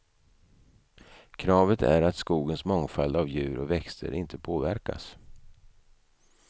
Kravet är att skogens mångfald av djur och växter inte påverkas.